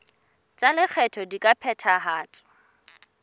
tsa lekgetho di ka phethahatswa